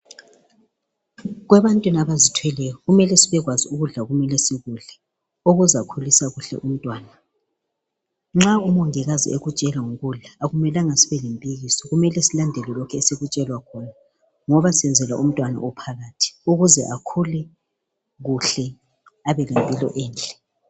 Kwebantwini abazithweleyo kumele sibekwazi ukudla okumele sikudle okuzakhulisa kuhle umntwana. Nxa umongikazi ekutshela ngokudla akumelanga sibe lempikiso kumele silandele lokhu esikutshelwa khona ngoba senzela umntwana ophakathi ukuze akhule kuhle abelempilo enhle.